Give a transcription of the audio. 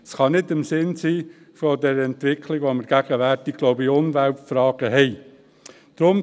Es kann nicht im Sinne der Entwicklung sein, die wir wohl gegenwärtig in Umweltfragen haben.